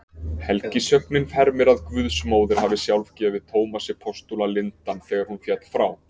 Helgisögnin hermir að guðsmóðir hafi sjálf gefið Tómasi postula lindann þegar hún féll frá.